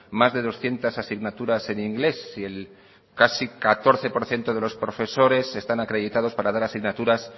más de doscientos asignaturas en inglés y el casi catorce por ciento de los profesores están acreditados para dar asignaturas